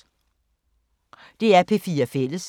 DR P4 Fælles